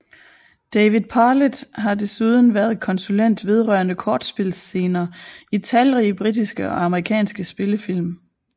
David Parlett har desuden været konsulent vedrørende kortspilsscener i talrige britiske og amerikanske spillefilm